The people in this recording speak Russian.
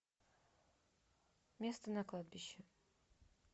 место на кладбище